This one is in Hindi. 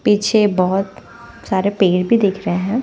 पीछे बहोत सारे पेड़ भी दिख रहे है।